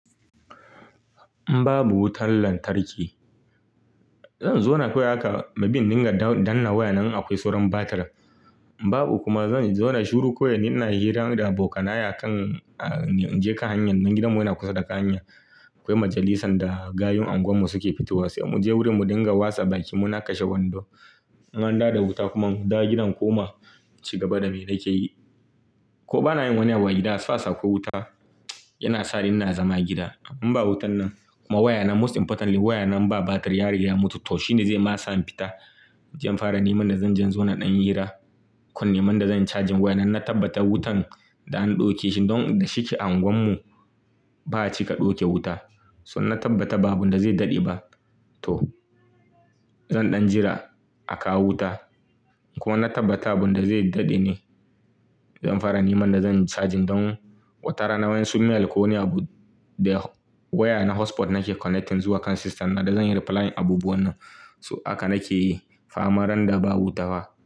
In babu wutar lantarki, zan zona kawai haka, maybe in dinga danna waya nan in akwai sauran batir. In babu kuma zan zona shiru kawai, ni ina hira da abokanaya akan jekan hanyar nan gidanmu yana kusa da hanya. Akwai majalisan da gayun anguwar mu suke fitowa, sai mu je wurin mu dinga wasa baki. Muna kashe wando, in an dawo da wuta kuma in dawo gidan in koma, ci gaba da me nake yi. Ko bana yin wani abu a gida as far as akwai wuta, yana sa ni ina zama gida. In ba wutan nan kuma waya nan most importantly waya nan in ba batir, ya riga ya mutu toh shine zai ma sa in fita. Zan fara neman da zan je in zona ɗan hira, ko in nema inda zan charge waya nan ina tabbata wutan da an ɗauke shi don da shike a unguwan mu ba'a cika ɗauke wuta. So na tabbata ba abu wanda zai daɗe ba toh zan ɗan jira a kawo wuta. Kuma na tabbata abun da zai daɗe ne, zan fara neman da zan charge don watarana wa'insu mail ko wani abu. Da waya na hotspot nake connecting zuwa kan system na da zan yi replying abubuwan nan. So haka nake yi fa mara nan da ba wuta fa.